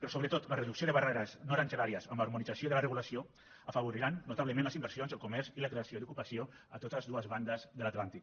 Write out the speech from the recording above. però sobretot la reducció de barreres no aranzelàries amb l’harmonització de la regulació afavoriran notablement les inversions el comerç i la creació d’ocupació a totes dues bandes de l’atlàntic